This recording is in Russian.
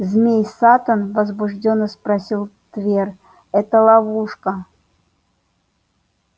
змей саттом возбуждённо спросил твер это ловушка